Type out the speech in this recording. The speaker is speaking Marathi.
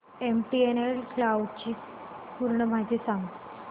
एमटीएनएल क्लाउड ची पूर्ण माहिती सांग